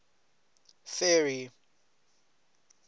ferry